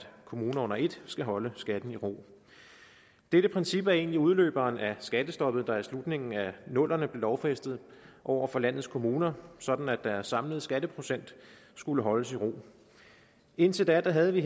kommunerne under et skal holde skatten i ro dette princip er egentlig udløberen af skattestoppet der i slutningen af nullerne blev lovfæstet over for landets kommuner sådan at deres samlede skatteprocent skulle holdes i ro indtil da havde vi